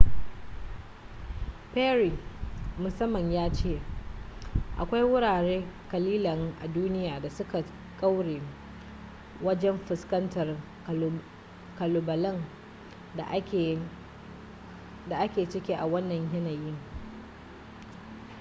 perry musamman ya ce akwai wurare kalilan a duniya da suka kware wajen fuskantar kalubalen da ake ciki a wannan yanayin